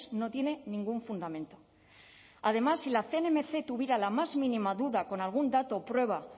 no tiene ningún fundamento además si la cnmc tuviera la más mínima duda con algún dato o prueba